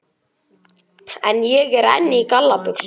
En ég er enn í galla buxunum.